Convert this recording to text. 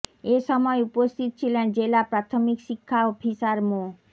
এ সময় উপস্থিত ছিলেন জেলা প্রাথমিক শিক্ষা অফিসার মো